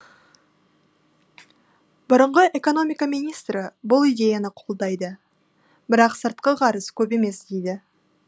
бұрынғы экономика министрі бұл идеяны қолдайды бірақ сыртқы қарыз көп емес дейді